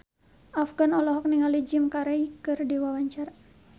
Afgan olohok ningali Jim Carey keur diwawancara